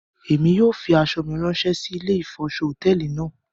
Émi yóò fi aṣọ mi rànṣẹ si ìlé ifọṣọ hotẹẹli náa